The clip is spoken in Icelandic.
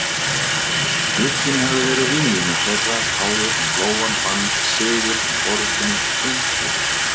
Glugginn hafði verið víglína þeirra áður en Lóa vann sigur í orrustunni um gluggatjöldin.